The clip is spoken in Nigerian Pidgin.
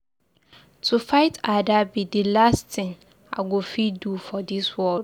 To fight Ada be the last thing I go fit do for dis world.